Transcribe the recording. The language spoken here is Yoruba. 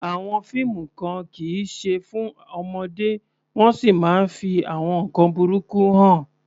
Àwọn fíìmù kan kì í ṣe fún ọmọdé wọ́n sì máa ń fi àwọn nkan burúkú hàn.